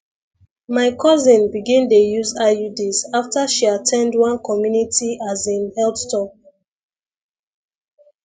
my cousin begin dey use iuds after she at ten d one community as in health talk